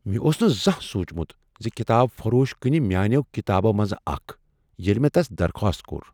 مےٚ اوس نہٕ زانٛہہ سوٗنٛچمت ز کتاب فروش كٕنہِ میٲنیو كِتابو منزٕ اكھ ، ییلہِ مے٘ تس درخاست كو٘ر ۔